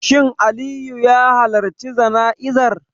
Shin Aliyu ya halarci jana'izar?